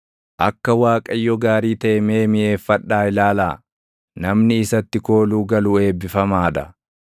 Akka Waaqayyo gaarii taʼe mee miʼeeffadhaa ilaalaa; namni isatti kooluu galu eebbifamaa dha.